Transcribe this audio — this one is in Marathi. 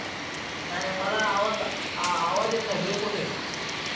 नाही मला आवाज आवाज येत नाही. ब्रेक होतोय.